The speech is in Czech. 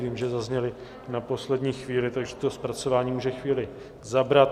Vím, že zazněly na poslední chvíli, takže to zpracování může chvíli zabrat.